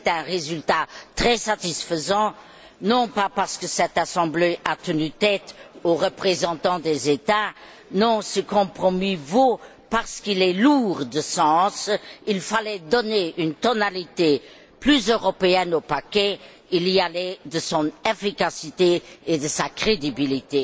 C'est un résultat très satisfaisant, non pas parce que cette Assemblée a tenu tête aux représentants des États mais parce que ce compromis est valable parce qu'il est lourd de sens. Il fallait donner une tonalité plus européenne au paquet, il y allait de son efficacité et de sa crédibilité.